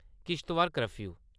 Kishtwar curfew